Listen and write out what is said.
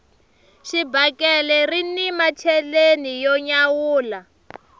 xibakele rini macheleni yo nyawula